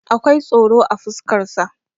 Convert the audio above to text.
akwai tsoro a fuskaraa